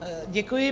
Děkuji.